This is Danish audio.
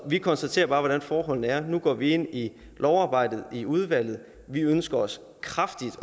vi konstaterer bare hvordan forholdene er nu går vi ind i lovarbejdet i udvalget vi ønsker os kraftigt